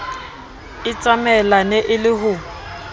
e tsamaelane e le ho